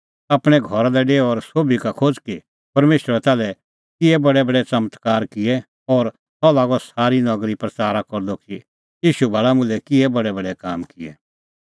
आपणैं घरा लै डेऊ और सोभी का खोज़ कि परमेशरै ताल्है किहै बडैबडै च़मत्कारे काम किऐ और सह लागअ सारी नगरी प्रच़ारा करदअ कि ईशू भाल़ा मुल्है किहै बडैबडै काम किऐ